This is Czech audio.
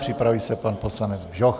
Připraví se pan poslanec Bžoch.